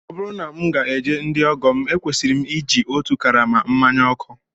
Ọ bụrụ na m ga-eje ndị ọgọ m, ekwesịrị m iji otu karama mmanya ọkụ